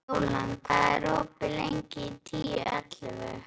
Bjólan, hvað er opið lengi í Tíu ellefu?